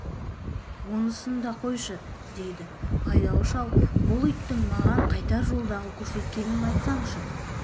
онысын да қойшы дейді байдалы шал бұл иттің маған қайтар жолдағы көрсеткенін айтсаңшы